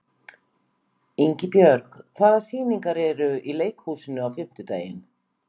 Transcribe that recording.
Ingibjörg, hvaða sýningar eru í leikhúsinu á fimmtudaginn?